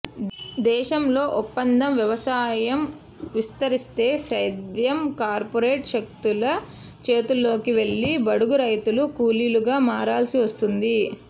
దేశంలో ఒప్పంద వ్యవసాయం విస్తరిస్తే సేద్యం కార్పొరేట్ శక్తుల చేతుల్లోకి వెళ్లి బడుగు రైతులు కూలీలుగా మారాల్సి వస్తుంది